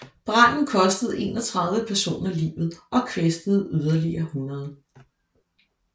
Branden kostede 31 personer livet og kvæstede yderligere 100